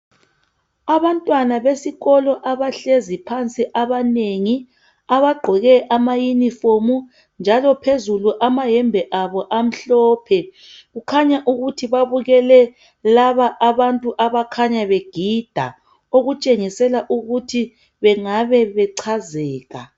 Abantwana besikolo abahlezi phansi abanengi. Abagqoke amayinifomu ,njalo phezulu amahembe abo amhlophe. Khukhanya ukuthi babukele ,laba abantu abakhanya begida. Okutshengisela ukuthi bengabe bechazeka.